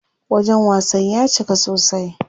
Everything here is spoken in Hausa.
Wajen wasan ya cika sosai.